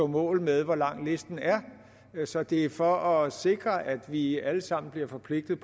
mål med hvor lang listen er så det er for at sikre at vi alle sammen bliver forpligtet